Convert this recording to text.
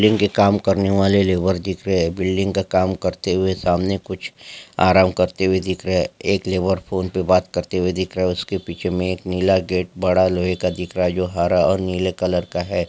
बिल्डिंग का काम करने वाले लेबर दिख रहे है बिल्डिंग का काम करते हुए सामने कुछ आराम करते हुए दिख रहे है एक फोन पर बात करते हुए दिख रहा है उसके पीछे में एक नीला गेट बड़ा लोहे का दिख रहा है जो हरा और नीले कलर का है।